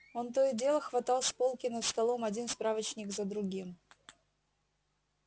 он то и дело хватал с полки над столом один справочник за другим